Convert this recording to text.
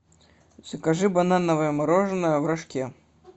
закажи банановое мороженное в рожке